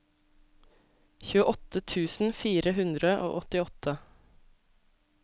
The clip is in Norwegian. tjueåtte tusen fire hundre og åttiåtte